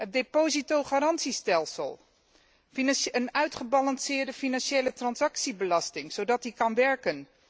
Het depositogarantiestelsel, een uitgebalanceerde financiële transactiebelasting, zodat die kan werken.